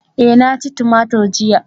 Eh na ci tumatur jiya